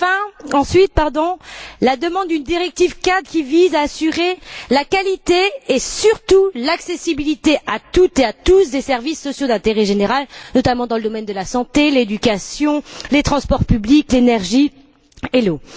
Deuxièmement, la demande d'une directive cadre qui vise à assurer la qualité et surtout l'accessibilité à toutes et à tous des services sociaux d'intérêt général, notamment dans le domaine de la santé, de l'éducation, des transports publics, de l'énergie et de l'eau.